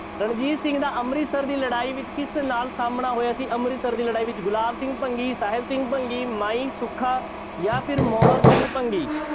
ਰਣਜੀਤ ਸਿੰਘ ਦਾ ਅੰਮ੍ਰਿਤਸਰ ਦੀ ਲੜਾਈ ਵਿੱਚ ਕਿਸ ਨਾਲ ਸਾਹਮਣਾ ਹੋਇਆ ਸੀ ਅੰਮ੍ਰਿਤਸਰ ਦੀ ਲੜਾਈ ਵਿੱਚ ਗੁਲਾਬ ਸਿੰਘ ਭੰਗੀ, ਸਾਹਿਬ ਸਿੰਗ ਭੰਗੀ, ਮਾਈ ਸੁੱਖਾ, ਜਾਂ ਫਿਰ ਮੋਹਰ ਸਿੰਘ ਭੰਗੀ।